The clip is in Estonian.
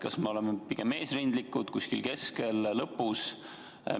Kas me oleme pigem eesrindlikud, kuskil keskel või lõpus?